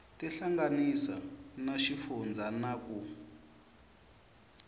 tihlanganisa na xifundzha na ku